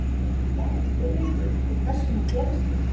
Hvað er hvirfilbylur og hvers vegna gerast þeir?